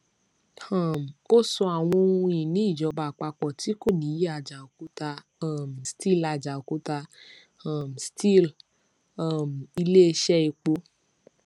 um ó sọ àwọn ohun ìní ìjọba àpapọ tí kò nìyí ajaokuta um steel ajaokuta um steel um iléiṣẹ epo